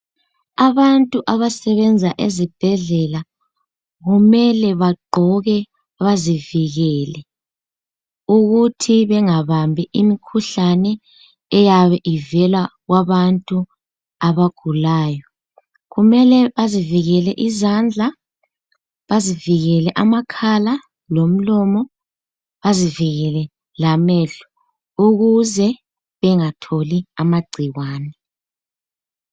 Abantu abasebenza ezibhedlela kumele bagqoke bazivikele ukuthi bengabambi imikhuhlane eyabe ivela kwabantu abagulayo. Kumele bazivikele izandla, bazivikele amakhala lomlomo, bazivikele lamehlo ukuze bangatholi amagcikwane.